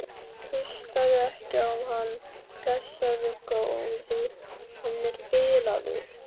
Hlustaðu ekki á hann, blessaður góði. hann er bilaður!